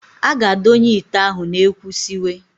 A ga-adonye ite ahụ n'ekwu siwe.